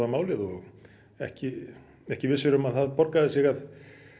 málið og ekki ekki vissir um að það borgaði sig að